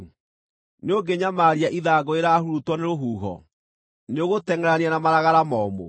Nĩũngĩnyamaria ithangũ rĩrahurutwo nĩ rũhuho? Nĩũgũtengʼerania na maragara momũ?